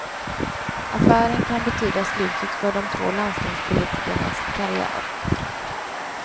Affären kan betyda slutet för de två landstingspolitikernas karriär.